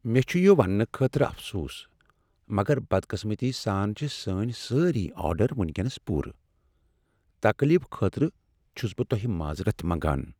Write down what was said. مےٚ چھ یہ وننہٕ خٲطرٕ افسوس، مگر بدقسمتی سان چھ سٲنۍ سٲری آرڈر ونکینس پوٗرٕ۔ تکلیفہٕ خٲطرٕ چھس بہٕ تۄہہِ معذرت منگان۔